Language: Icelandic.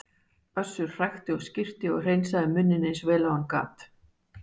Össur hrækti og skyrpti og hreinsaði munninn eins vel og hann gat.